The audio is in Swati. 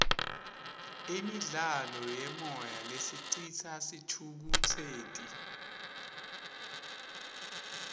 imidlalo yemoya lesicitsa sithukutseti